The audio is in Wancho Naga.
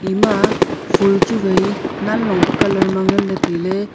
ema fol chu wai nanlong pe ma nganley tailey.